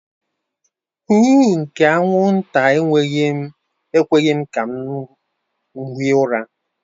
Huuuu nke anwụnta ekweghị m hie ụra.